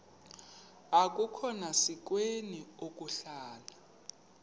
akukhona sikweni ukuhlala